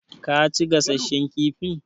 Ka ci gasasshen kifin?